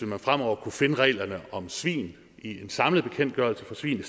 man fremover kunne finde reglerne om svin i en samlet bekendtgørelse for svin